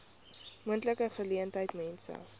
moontlike geleentheid mense